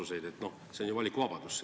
See oleks ju valikuvabadus.